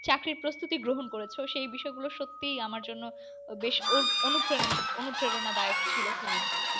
চাকরির প্রস্তুতি গ্রহণ করেছ। সেই বিষয় গুলি সত্যিই আমার জন্য, বেশ অনু~অনুপ্রেরন অনুপ্রেরনা দায়ক ছিল। হ্যাঁ হ্যাঁ